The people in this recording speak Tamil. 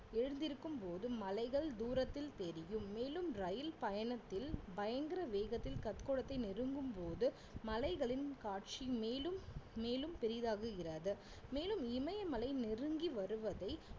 எழுந்திருக்கும்போது மலைகள் தூரத்தில் தெரியும் மேலும் ரயில் பயணத்தில் பயங்கர வேகத்தில் கத்கோடத்தைநெருங்கும் போது மலைகளின் காட்சி மேலும் மேலும் பெரிதாகுகிறாது மேலும் இமயமலை நெருங்கி வருவதை